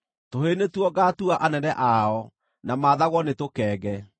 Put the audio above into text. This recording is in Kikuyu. Tũhĩĩ nĩtuo ngaatua anene ao; na maathagwo nĩ tũkenge.